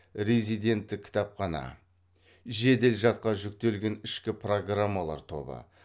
резидентті кітапхана жедел жадқа жүктелген ішкі программалар тобы